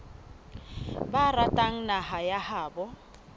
ba ratang naha ya habo